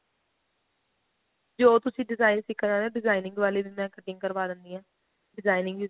ਜੋ ਤੁਸੀਂ design ਸਿੱਖਣਾ designing ਵਾਲੇ ਵੀ ਮੈਂ cutting ਕਰਵਾ ਦਿੰਦੀ ਆ designing ਵੀ